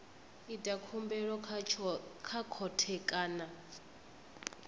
ita khumbelo kha khothe kana